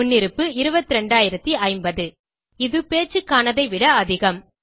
முன்னிருப்பு 22050 இது பேச்சுக்கானதை விட அதிகம்